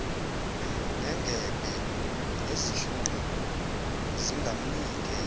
nengebhe nezinhlungu zingamnike